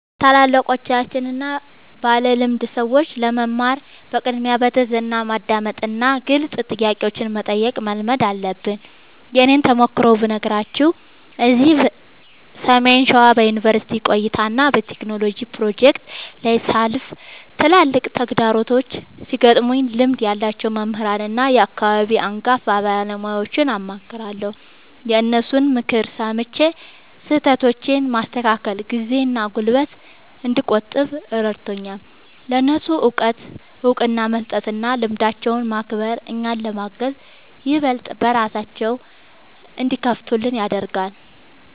ከታላላቆችና ባለልምድ ሰዎች ለመማር በቅድሚያ በትሕትና ማዳመጥንና ግልጽ ጥያቄዎችን መጠየቅን መልመድ አለብን። የእኔን ተሞክሮ ብነግራችሁ፤ እዚህ ሰሜን ሸዋ በዩኒቨርሲቲ ቆይታዬና በቴክኖሎጂ ፕሮጀክቶቼ ላይ ሳልፍ፣ ትላልቅ ተግዳሮቶች ሲገጥሙኝ ልምድ ያላቸውን መምህራንና የአካባቢውን አንጋፋ ባለሙያዎችን አማክራለሁ። የእነሱን ምክር ሰምቼ ስህተቶቼን ማስተካከሌ ጊዜና ጉልበት እንድቆጥብ ረድቶኛል። ለእነሱ እውቀት እውቅና መስጠትና ልምዳቸውን ማክበር፣ እኛን ለማገዝ ይበልጥ በራቸውን እንዲከፍቱልን ያደርጋል።